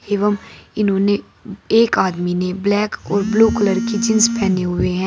एवं इन्होंने एक आदमी ने ब्लैक और ब्लू कलर की जींस पहने हुए हैं।